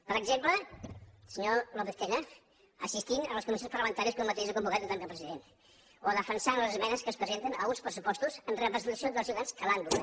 per exemple senyor lópez tena assistint a les comissions parlamentàries que un mateix ha convocat en tant que president o defensant les esmenes que es presenten a uns pressupostos en representació dels ciutadans que l’han votat